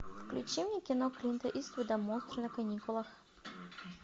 включи мне кино клинта иствуда монстры на каникулах